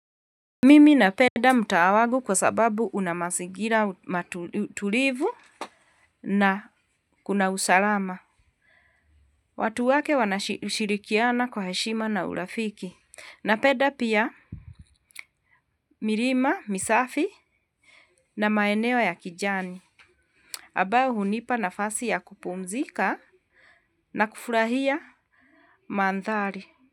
Mimi napenda mtaa wangu kwa sababu una mazingira matulivu na kuna usalama. Watu wake wanashirikiana kwa heshima na urafiki. Na penda pia milima, misafi na maeneo ya kijani. Ambao hunipa nafasi ya kupumzika na kufurahia mandhari.